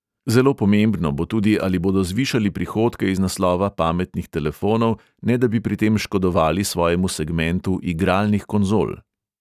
Zelo pomembno bo tudi, ali bodo zvišali prihodke iz naslova pametnih telefonov, ne da bi pri tem škodovali svojemu segmentu igralnih konzol.